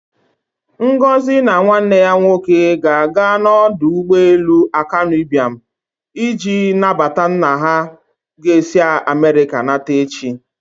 Ngozi and her brother will go to Akanu Ibiam International Airport to welcome their father who is coming from Amerịka tomorrow.